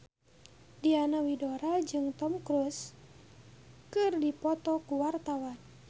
Diana Widoera jeung Tom Cruise keur dipoto ku wartawan